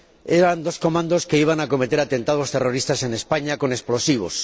Eran dos comandos que iban a cometer atentados terroristas en España con explosivos.